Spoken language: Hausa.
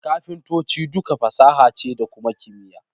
Kafintanci duka fasaha ce da kuma kimiyya.